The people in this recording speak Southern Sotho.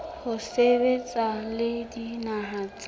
ho sebetsa le dinaha tse